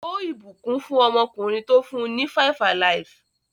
Ó ìbùkún fún ọmọkùnrin tó fún ní 5-alive.